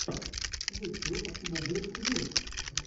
ютюб бублик вью